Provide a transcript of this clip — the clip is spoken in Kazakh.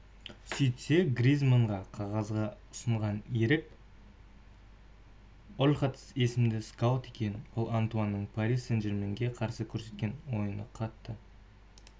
сөйтсе гризманнға қағазды ұсынған ерік ольхатс есімді скаут екен ол антуанның пари-сен-жерменге қарсы көрсеткен ойынына қатты